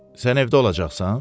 Sən evdə olacaqsan?